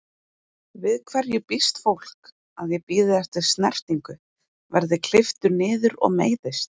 Við hverju býst fólk, að ég bíði eftir snertingu, verð klipptur niður og meiðist?